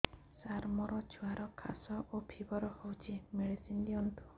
ସାର ମୋର ଛୁଆର ଖାସ ଓ ଫିବର ହଉଚି ମେଡିସିନ ଦିଅନ୍ତୁ